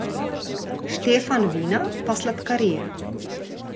Štefan vina, pa sladkarije.